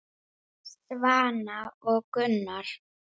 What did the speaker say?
Svana og Gunnar.